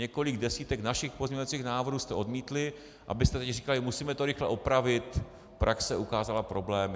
Několik desítek našich pozměňovacích návrhů jste odmítli, abyste teď říkali, musíme to rychle opravit, praxe ukázala problémy.